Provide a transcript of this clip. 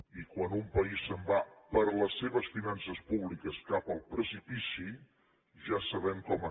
i quan un país se’n va per les seves finances públiques cap al precipici ja sabem com acaba